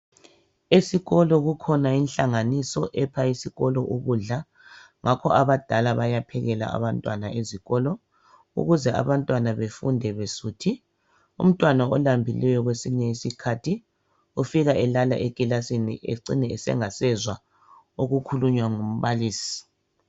Esikolo kukhona inhlanganiso epha abantwana ukudla, Esikolo baphekelwa ukuze badle ,abanye abantwana bayabe belambile becina bephazamisela ekuzweni okuyabe kukhulunywa ngumbalisi.